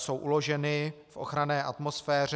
Jsou uloženy v ochranné atmosféře.